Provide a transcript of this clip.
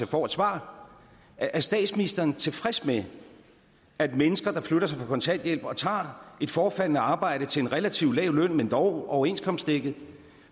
får et svar er statsministeren tilfreds med at mennesker der flytter sig fra kontanthjælp og tager et forefaldende arbejde til en relativt lav løn men dog overenskomstdækket